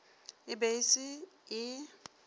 e be e se e